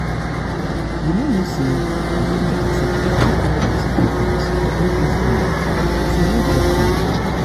you no know say god dey accept different kind of sacrifice for old testament so no judge me